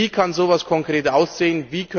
Wie kann so etwas konkret aussehen?